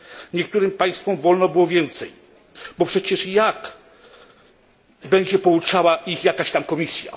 Niektórym państwom wolno było więcej, bo przecież jak będzie ich pouczała jakaś tam Komisja.